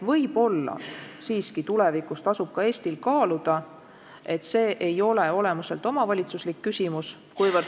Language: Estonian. Võib-olla siiski tulevikus tasub ka Eestil kaaluda asja sellest vaatevinklist, et see ei ole olemuselt omavalitsuslik küsimus.